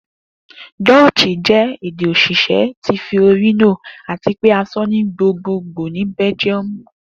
Dutch jẹ ede osise ti Fiorino ati pe a sọ ni gbogbogbo ni Bẹljiọmu.